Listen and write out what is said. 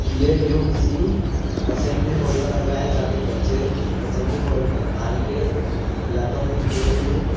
ये व्यू किसी assembly hall का लग रहा है यहां पे बच्चे असेंबली हॉल में आएंगे या तो फिर ये व्यू की--